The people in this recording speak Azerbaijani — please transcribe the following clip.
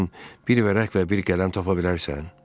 Mənim üçün bir vərəq və bir qələm tapa bilərsən?